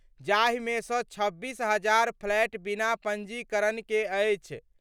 जाहिमे सँ 26 हजार फ्लैट बिना पंजीकरण के अछि।